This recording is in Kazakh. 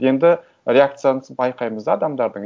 енді реакцияны байқаймыз адамдардың